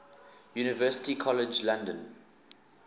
university college london